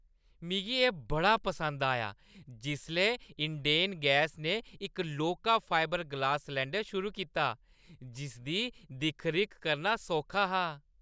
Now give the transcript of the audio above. मिगी एह् बड़ा पसंद आया जिसलै इंडेन गैस ने इक लौह्‌का फाइवर ग्लास सलैंडर शुरू कीता जिसदी दिक्ख-रिक्ख करना सौखा हा।